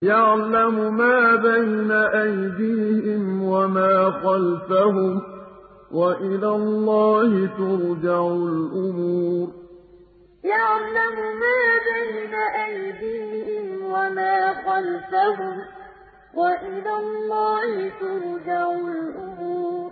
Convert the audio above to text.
يَعْلَمُ مَا بَيْنَ أَيْدِيهِمْ وَمَا خَلْفَهُمْ ۗ وَإِلَى اللَّهِ تُرْجَعُ الْأُمُورُ يَعْلَمُ مَا بَيْنَ أَيْدِيهِمْ وَمَا خَلْفَهُمْ ۗ وَإِلَى اللَّهِ تُرْجَعُ الْأُمُورُ